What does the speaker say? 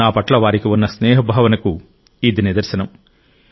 నా పట్ల వారికి ఉన్న స్నేహభావనకు ఇది నిదర్శనం